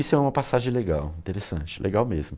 Isso é uma passagem legal, interessante, legal mesmo.